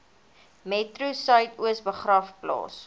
metro suidoos begraafplaas